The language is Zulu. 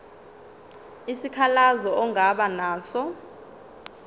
isikhalazo ongaba naso